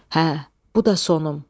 Hə, bu da sonum.